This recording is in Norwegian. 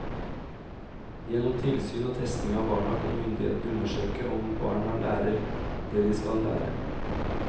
Gjennom tilsyn og testing av barna kan myndighetene undersøke om barna lærer det de skal lære.